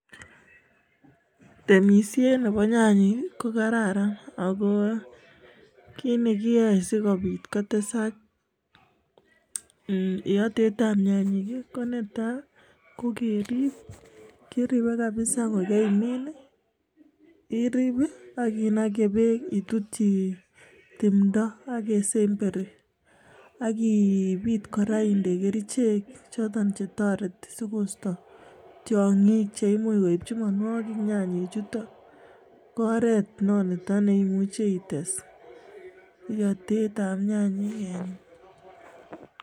Temisiet nebo nyanyik ko kararan ako kiit ne kiyoe sikopit kotesak iyotetab nyanyik ko netai, ko keriip, kiripei kapsa kokemiin, iriip ak kinakei beek itutyi timdo ak kesemberi aki ipit kora indee kerichek choto che toreti sikoisto tiongik che imuch koipchi mianwokik nyanyek chuto ko oret nito ne imuchi ites iyatetab nyanyek eng.